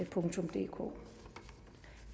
det